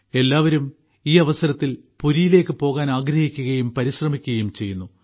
എല്ലാവരും ഈ അവസരത്തിൽ പുരിയിലേക്ക് പോകാൻ ആഗ്രഹിക്കുകയും പരിശ്രമിക്കുകയും ചെയ്യുന്നു